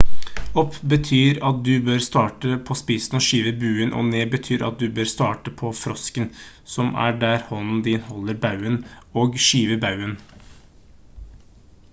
opp betyr at du bør starte på spissen og skyve buen og ned betyr at du bør starte på frosken som er der hånden din holder baugen og skyve baugen